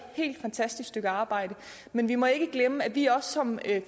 helt fantastisk stykke arbejde men vi må ikke glemme at vi også som